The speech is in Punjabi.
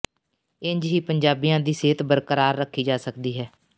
ਇੰਜ ਹੀ ਪੰਜਾਬੀਆਂ ਦੀ ਸਿਹਤ ਬਰਕਰਾਰ ਰੱਖੀ ਜਾ ਸਕਦੀ ਹੈ